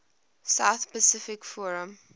south pacific forum